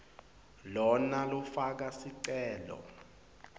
lona lofaka sicelo